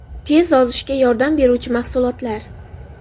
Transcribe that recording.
Tez ozishga yordam beruvchi mahsulotlar.